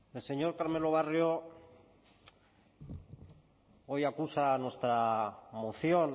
el señor carmelo barrio hoy acusa a nuestra moción